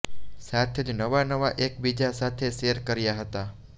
સાથે જ નવા નવા એકબીજા સાથે શેર કર્યા હતા